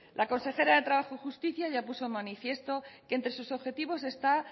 la consejera de trabajo y justicia ya puso de manifiesto que entre sus objetivos está